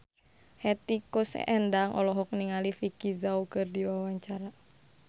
Hetty Koes Endang olohok ningali Vicki Zao keur diwawancara